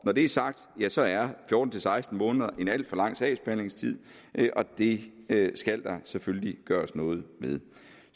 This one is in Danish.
når det er sagt ja så er fjorten til seksten måneder en alt for lang sagsbehandlingstid og det det skal der selvfølgelig gøres noget ved